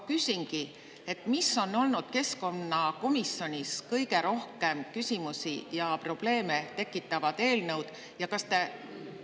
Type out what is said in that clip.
Küsingi, millised on olnud kõige rohkem küsimusi ja probleeme tekitavad eelnõud keskkonnakomisjonis?